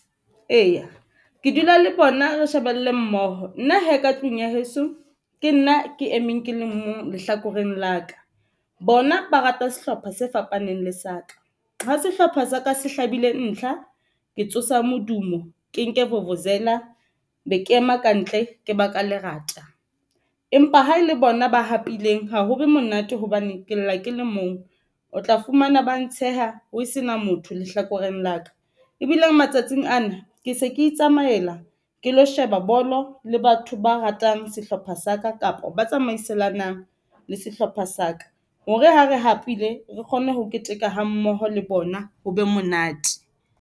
Eya ke dula le bona, re shebelle mmoho nna hee ka tlung ya heso, ke nna ke emeng ke le mong lehlakoreng la ka. Bona ba rata sehlopha se fapaneng le sa ka ha sehlopha sa ka se hlabile ntlha ke tsosa modumo, ke nke vuvuzela be ke ema kantle ke ba ka lerata, empa ha e le bona ba hapileng ha ho be monate hobane ke lla ke le mong. O tla fumana ba ntsheha ho sena motho lehlakoreng la ka, ebile matsatsing ana se ke itsamaela ke lo sheba bolo le batho ba ratang sehlopha sa ka, kapa ba tsamaiselane nang le sehlopha sa ka hore ha re hapile re kgone ho keteka ha mmoho le bona ho be monate.